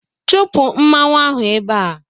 Chụpụ mmanwụ ahụ ebe a!